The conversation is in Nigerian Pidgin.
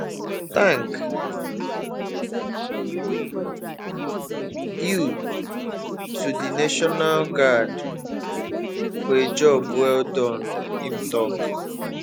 tank you to di national guard for a job well done im tok